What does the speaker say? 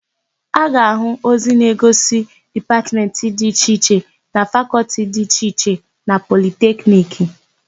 A ga-áhụ̀ ozi na-egosi Dipatmentị dị iche iche na Fakọltị dị iche iche na Politekniki.